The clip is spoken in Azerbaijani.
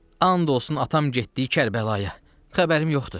And olsun atam getdiyi Kərbəlaya, xəbərim yoxdur.